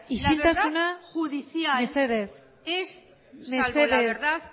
isiltasuna mesedez mesedez salvo la verdad